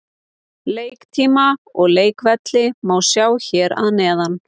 Leiktíma og leikvelli má sjá hér að neðan.